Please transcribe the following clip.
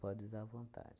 Pode usar à vontade.